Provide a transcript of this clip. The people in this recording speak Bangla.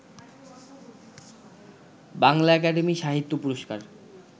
বাংলা একাডেমী সাহিত্য পুরস্কার